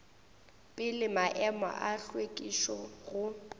pele maemo a hlwekišo go